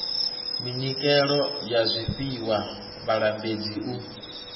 minyikelo ya zwifhiwa vhalambedzi u